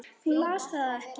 Hún las það ekki.